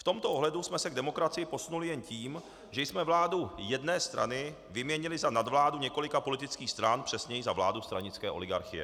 V tomto ohledu jsme se k demokracii posunuli jen tím, že jsme vládu jedné strany vyměnili za nadvládu několika politických stran, přesněji za vládu stranické oligarchie.